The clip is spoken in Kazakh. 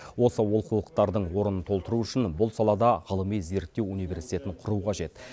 осы олқылықтардың орнын толтыру үшін бұл салада ғылыми зерттеу университетін құру қажет